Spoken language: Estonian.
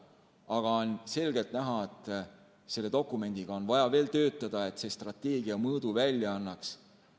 Aga on selgelt näha, et selle dokumendiga on vaja veel tööd teha, et see strateegia mõõdu välja annaks.